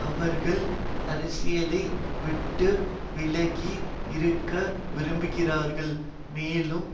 அவர்கள் அரசியலை விட்டு விலகி இருக்க விரும்புகிறார்கள் மேலும்